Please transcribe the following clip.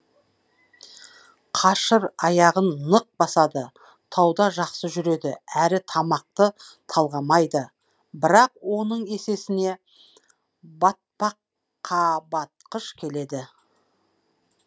қашыр аяғын нық басады тауда жақсы жүреді әрі тамақты талғамайды бірақ оның есесіне батпаққа батқыш келеді